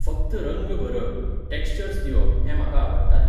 फक्त रंग भरप, टॅक्श्चर्श दिवप हें म्हाका आवडटालें.